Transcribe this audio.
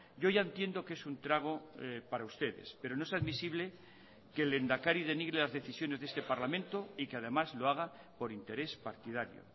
yo ya entiendo que es un trago para ustedes pero no es admisible que el lehendakari denigre las decisiones de este parlamento y que además lo haga por interés partidario